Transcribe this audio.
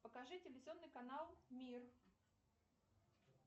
покажи телевизионный канал мир